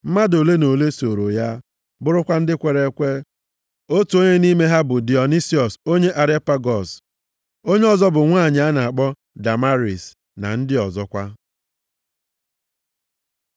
Mmadụ ole na ole sooro ya, bụrụkwa ndị kwere ekwe. Otu onye nʼime ha bụ Dionisiọs onye Areopagọs. Onye ọzọ bụ nwanyị a na-akpọ Damaris na ndị ọzọkwa.